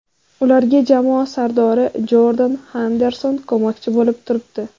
Ularga jamoa sardori Jordan Henderson ko‘makchi bo‘lib turibdi.